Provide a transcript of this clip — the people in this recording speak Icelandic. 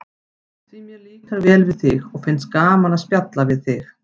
Því mér líkar vel við þig og finnst gaman að spjalla við þig.